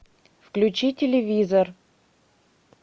включи телевизор